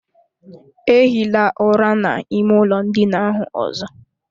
Ehila ụra n'ime ụlọ ndina ahụ ọzọ!